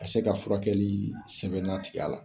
Ka se ka furakɛlisenbɛnna tig'a la